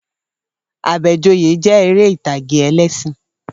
Àbẹ̀joyè jẹ́ eré ìtàgé ẹlẹ́ṣìn